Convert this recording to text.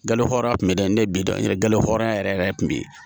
Galo hɔrɔnya tun bɛ da ne ye bi dɔ in yɛrɛ hɔrɔnya yɛrɛ yɛrɛ de tun bɛ yen